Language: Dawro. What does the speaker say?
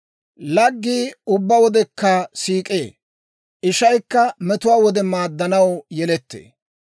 Laggii ubbaa wodekka siik'ee; ishaykka metuwaa wode maaddanaw yelettee.